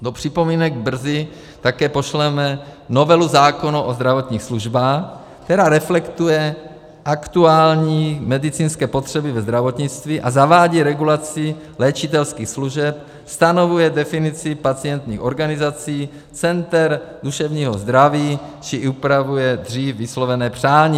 Do připomínek brzy také pošleme novelu zákona o zdravotních službách, která reflektuje aktuální medicínské potřeby ve zdravotnictví a zavádí regulaci léčitelských služeb, stanovuje definici pacientských organizací, center duševního zdraví či upravuje dřív vyslovené přání.